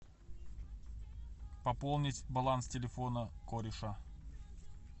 пополнить баланс телефона кореша